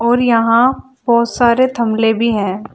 और यहां बहोत सारे थमले भी हैं।